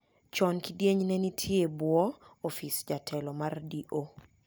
Chon kidieny ni ne nitie bwo office jatlo mar D.O.